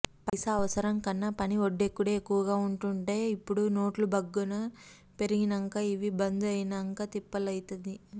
పైస అవసరం కన్న పని ఒడ్డెక్కుడే ఎక్కువగా ఉంటుండె ఇప్పుడు నోట్లు భగ్గ పెరిగినంక అవి బందు అయినంక తిప్పలైతంది